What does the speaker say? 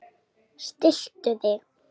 Stilltu þig!